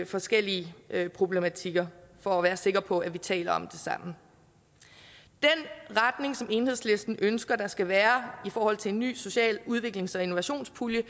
forskellige problematikker for at være sikker på at vi taler om det samme den retning som enhedslisten ønsker der skal være i forhold til en ny social udviklings og innovationspulje